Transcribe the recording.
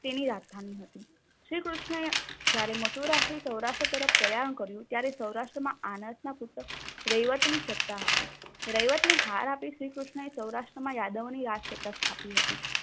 તેની રાજધાની હતી. શ્રીકૃષ્ણએ જયારે મથુરાથી સૌરાષ્ટ્ર તરફ પ્રયાણ કર્યું ત્યારે સૌરાષ્ટ્રમાં આનતના સૂતક રૈવતની સત્તા હતી. રૈવતની હાર આપી શ્રી કૃષ્ણએ સૌરાષ્ટ્રમાં યાદવની રાજ સત્તા સ્થાપી હતી.